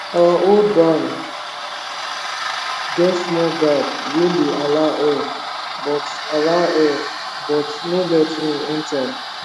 our old barn get small gap wey dey allow air but allow air but no let rain enter